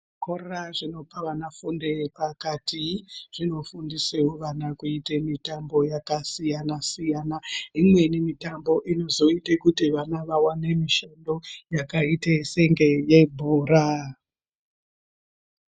Zvikora zvinopa vana fundo yepakati zvinofundise vana kuite mitambo yakasiyanasiyana imweni mitambo inozoite kuti vana vawane mishando yakaitese yebhora.